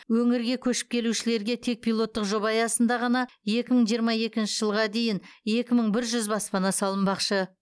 өңірге көшіп келушілерге тек пилоттық жоба аясында ғана екі мың жиырма екінші жылға дейін екі мың бір жүз баспана салынбақшы